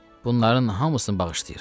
Bunların hamısını bağışlayıram.